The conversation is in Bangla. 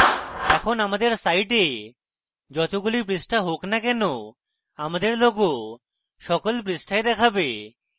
এখন আমাদের site যতগুলোই পৃষ্ঠা হোক no কেনো আমাদের logo সকল পৃষ্ঠায় দেখাবে